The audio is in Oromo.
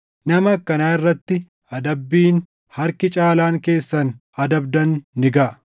Nama akkanaa irratti adabbiin harki caalaan keessan adabdan ni gaʼa.